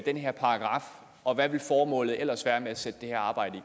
den her paragraf og hvad ville formålet ellers være med at sætte det her arbejde